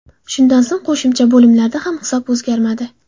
Shundan so‘ng qo‘shimcha bo‘limlarda ham hisob o‘zgarmadi.